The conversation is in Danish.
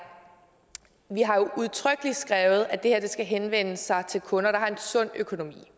vi har jo udtrykkeligt skrevet at det her skal henvende sig til kunder der har en sund økonomi